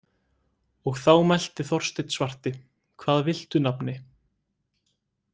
Og þá mælti Þorsteinn svarti: „Hvað viltu nafni“?